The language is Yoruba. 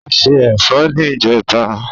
O ṣé ẹ̀fọ́ ní ìjẹta.